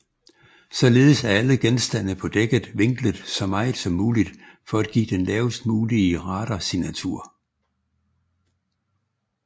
Således er alle genstande på dækket vinklet så meget som muligt for at give den lavest mulige radarsignatur